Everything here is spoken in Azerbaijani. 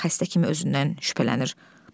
Xəstə kimi özündən şübhələnir.